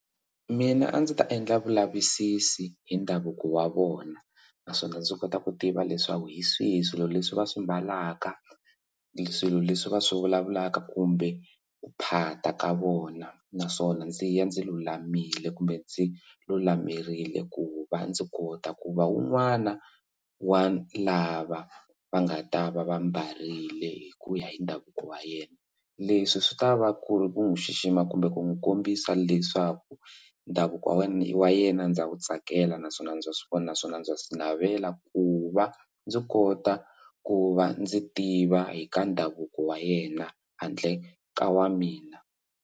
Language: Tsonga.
Mina a ndzi ta endla vulavisisi hi ndhavuko wa vona naswona ndzi kota ku tiva leswaku hi swihi swilo leswi va swi mbalaka swilo leswi va swi vulavulaka kumbe ku phata ka vona naswona ndzi ya ndzi lulamile kumbe ndzi lulamerile ku va ndzi kota ku va un'wana wa lava va nga ta va va mbarile hi ku ya hi ndhavuko wa yena leswi swi ta va ku ri ku n'wi xixima kumbe ku n'wi kombisa leswaku ndhavuko wa wena wa yena ndza ku tsakela naswona ndza swi vona naswona ndza swi navela ku va ndzi kota ku va ndzi tiva hi ka ndhavuko wa yena handle ka wa mina.